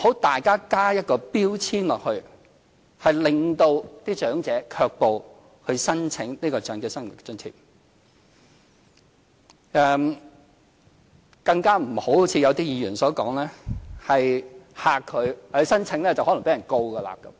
大家不要加上標籤，令長者卻步不去申請長者生活津貼，更不要——正如有些議員所說——驚嚇長者，指申請可能會被控告。